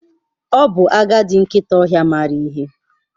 Ọ bụ agadi nkịta ọhịa maara ihe.